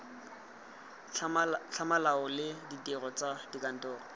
tlhamalalo le ditiro tsa kantoro